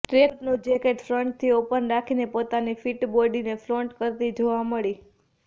ટ્રેકસૂટનું jacket ફ્રન્ટથી open રાખીને પોતાની ફિટ બોડીને ફ્લોન્ટ કરતી જોવા મળી